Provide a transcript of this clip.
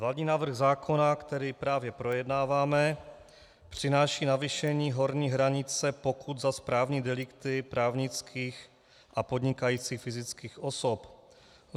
Vládní návrh zákona, který právě projednáváme, přináší navýšení horní hranice pokut za správní delikty právnických a podnikajících fyzických osob.